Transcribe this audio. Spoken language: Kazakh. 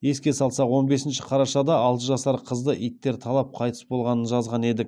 еске салсақ он бесінші қарашада алты жасар қызды иттер талап қайтыс болғанын жазған едік